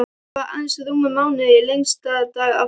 Það var aðeins rúmur mánuður í lengsta dag ársins.